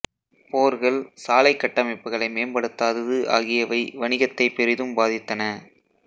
போர்கள் சாலை கட்டமைப்புகளை மேம்படுத்தாதது ஆகியவை வணிகத்தை பெரிதும் பாதித்தன